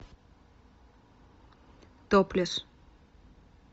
топлес